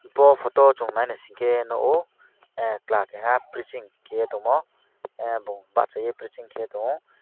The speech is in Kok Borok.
bo photo o chung nai naising ke nogo chwla keha preching keia tomo bo bachai ai preaching tongo.